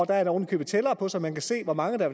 der er ovenikøbet tæller på så man kan se hvor mange der